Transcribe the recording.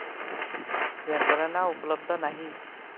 यंत्रणा उपलब्ध नाही